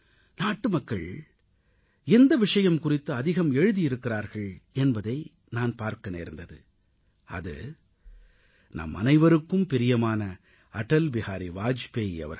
நாட்டுமக்கள் எந்த விஷயம் குறித்து அதிகம் எழுதியிருக்கிறார்கள் என்பதை நான் பார்க்க நேர்ந்தது அது நம்மனைவருக்கும் பிரியமான அடல் பிஹாரி வாஜ்பாய் அவர்கள்